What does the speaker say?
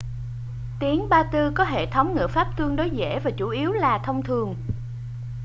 tiếng ba-tư có hệ thống ngữ pháp tương đối dễ và chủ yếu là thông thường